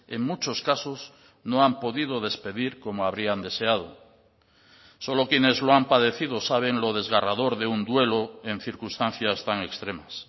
en muchos casos no han podido despedir como habrían deseado solo quienes lo han padecido saben lo desgarrador de un duelo en circunstancias tan extremas